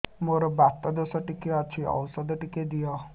ମୋର୍ ବାତ ଦୋଷ ଟିକେ ଅଛି ଔଷଧ ଟିକେ ଦିଅ